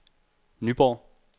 Nyborg